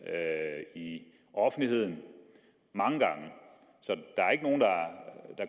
i offentligheden mange gange så det